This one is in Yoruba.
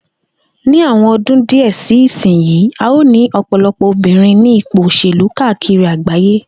Ní àwo̩n odún díè̩ sí ìsinyìí, a óò ní ò̩pò̩lo̩pò̩ obìnrin ní ipò òs̩èlú káàkiri àgbáyé